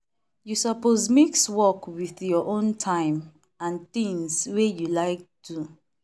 you suppose mix work with your own time and tings wey you like do.